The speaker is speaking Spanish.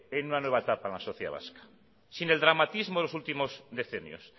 que hay una nueva etapa en la sociedad vasca sin el dramatismo en los últimos decenios